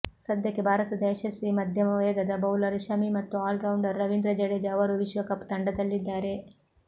ಸದ್ಯಕ್ಕೆ ಭಾರತದ ಯಶಸ್ವಿ ಮಧ್ಯಮ ವೇಗದ ಬೌಲರ್ ಶಮಿ ಮತ್ತು ಆಲ್ರೌಂಡರ್ ರವೀಂದ್ರ ಜಡೇಜ ಅವರೂ ವಿಶ್ವಕಪ್ ತಂಡದಲ್ಲಿದ್ದಾರೆ